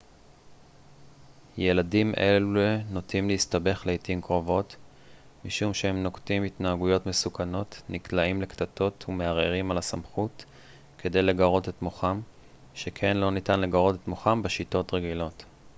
ילדים אלה נוטים להסתבך לעתים קרובות משום שהם נוקטים התנהגויות מסוכנות נקלעים לקטטות ומערערים על הסמכות כדי לגרות את מוחם שכן לא ניתן לגרות את מוחם בשיטות רגילות